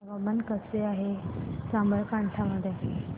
हवामान कसे आहे साबरकांठा मध्ये